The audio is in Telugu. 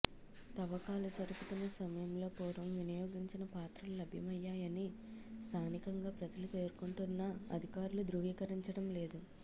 తవ్వకాలు జరుపుతున్న సమయంలో పూర్వం వినియోగించిన పాత్రలు లభ్యమయ్యాయని స్థానికంగా ప్రజలు పేర్కొంటున్నా అధికారులు ధృవీకరించడం లేదు